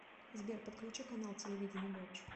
сбер подключи канал телевидения матч